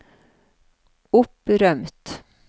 opprømt